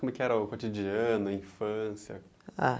Como que era o cotidiano, a infância? Ah